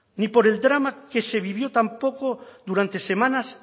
ni por el drama que se vivió tampoco durante semanas